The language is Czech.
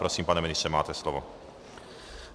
Prosím, pane ministře, máte slovo.